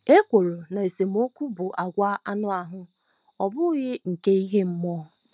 Ekworo na esemokwu bụ àgwà anụ ahụ́, ọ bụghị nke ime mmụọ.